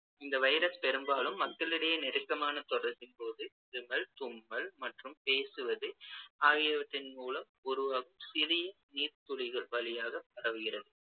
இந்த virus பெரும்பாலும் மக்களிடையே நெருக்கமான தொடர்பின்போது இருமல், தும்மல் மற்றும் பேசுவது ஆகியவற்றின் மூலம் உருவா~ சிறிய நீர்த்துளிகள் வழியாகப் பரவுகிறது